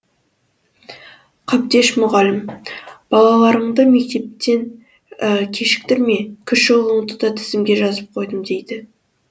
қабдеш мұғалім балаларыңды мектептен кешіктірме кіші ұлыңды да тізімге жазып қойдым дейді